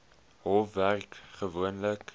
hof werk gewoonlik